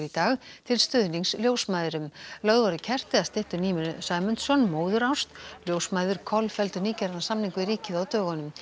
dag til stuðnings ljósmæðrum lögð voru kerti að styttu Nínu Sæmundsson móðurást ljósmæður kolfelldu nýgerðan samning við ríkið á dögunum